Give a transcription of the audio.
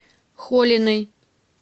холиной